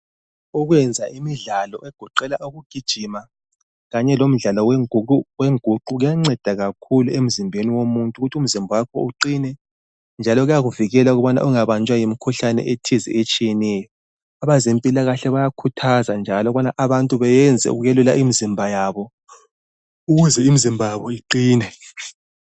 Ukwenza imidlalo egoqela ukugijima, kanye lomdlalo wengu wenguqu, kuyanceda kakhulu emzimbeni womuntu ukuth' umzimba wakho uqine, njalo kuyakuvikela ukubana ungabanjwa yimkhuhlane ethize etshiyeneyo. Abazempilakahle bayakhuthaza njalo ukubana abantu beyenze ukwelula imizimba yabo ukuze imizimba yabo iqine.